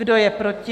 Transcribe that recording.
Kdo je proti?